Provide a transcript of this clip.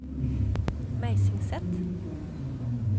Meisingset